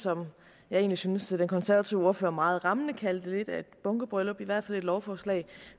som jeg synes den konservative ordfører egentlig meget rammende kaldte lidt af et bunkebryllup i hvert fald et lovforslag